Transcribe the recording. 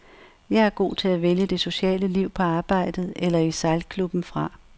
Jeg er god til at vælge det sociale liv på arbejdet eller i sejlklubben fra.